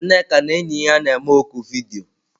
Nneka na enyi ya na-eme oku vidiyo.